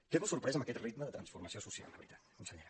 quedo sorprès amb aquest ritme de transformació social la veritat consellera